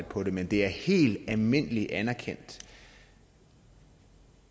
på det men det er helt almindelig anerkendt